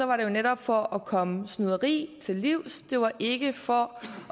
var det jo netop for at komme snyderi til livs det var ikke for